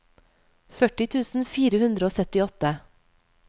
førti tusen fire hundre og syttiåtte